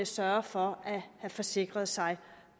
sørge for at have forsikret sig